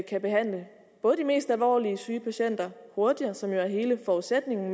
kan behandle både de mest alvorligt syge patienter hurtigere som jo er hele forudsætningen